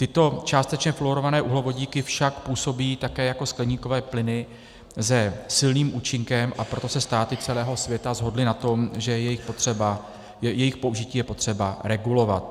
Tyto částečně fluorované uhlovodíky však působí také jako skleníkové plyny se silným účinkem, a proto se státy celého světa shodly na tom, že jejich použití je potřeba regulovat.